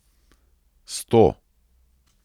Sto!